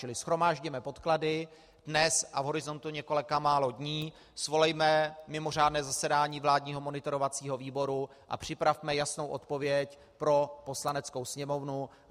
Čili shromáždíme podklady dnes a v horizontu několika málo dní svolejme mimořádné zasedání vládního monitorovacího výboru a připravme jasnou odpověď pro Poslaneckou sněmovnu.